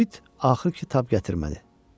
Uit axır ki, tab gətirmədi.